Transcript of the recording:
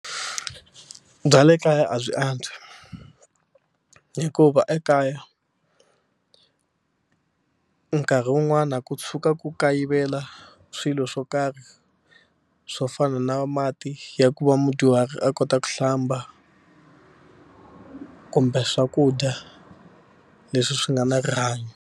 Bya le kaya a byi antswi hikuva ekaya nkarhi wun'wana ku tshuka ku kayivela swilo swo karhi swo fana na mati ya ku va mudyuhari a kota ku hlamba kumbe swakudya leswi swi nga na rihanyo.